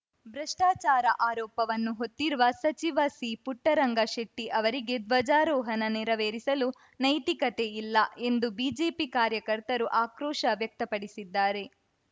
ಭ್ರಷ್ಟಾಚಾರ ಆರೋಪವನ್ನು ಹೊತ್ತಿರುವ ಸಚಿವ ಸಿಪುಟ್ಟರಂಗಶೆಟ್ಟಿಅವರಿಗೆ ಧ್ವಜಾರೋಹಣ ನೆರವೇರಿಸಲು ನೈತಿಕತೆ ಇಲ್ಲ ಎಂದು ಬಿಜೆಪಿ ಕಾರ್ಯಕರ್ತರು ಆಕ್ರೋಶ ವ್ಯಕ್ತಪಡಿಸಿದ್ದಾರೆ